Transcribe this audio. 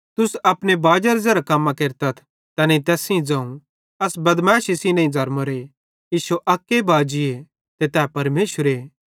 तुस अपने बाजेरां ज़ेरां कम्मां केरतथ तैनेईं तैस सेइं ज़ोवं अस बदमैशी सेइं नईं ज़र्मोरे इश्शो अक्के बाजीए ते तै परमेशरे